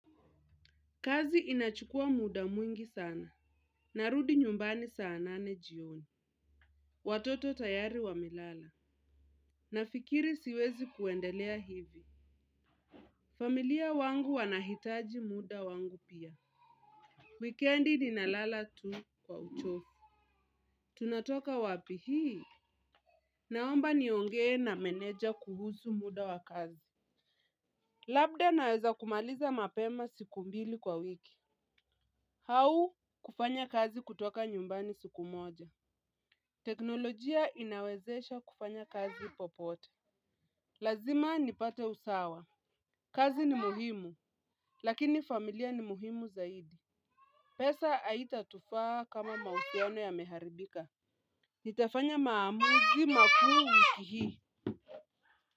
Kazi inachukua muda mwingi sana. Narudi nyumbani saa nane jioni. Watoto tayari wamelala. Nafikiri siwezi kuendelea hivi. Familia wangu wanahitaji muda wangu pia. Wikendi ninalala tu kwa uchovu. Tunatoka wapi hii. Naomba niongee na meneja kuhusu muda wa kazi. Labda naweza kumaliza mapema siku mbili kwa wiki. Au kufanya kazi kutoka nyumbani siku moja. Teknolojia inawezesha kufanya kazi popote. Lazima nipate usawa kazi ni muhimu. Lakini familia ni muhimu zaidi. Pesa haitatufaa kama mahusiano yameharibika. Nitafanya maamuzi makuu wiki hii.